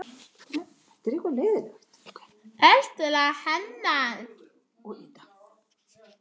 eldra hennar.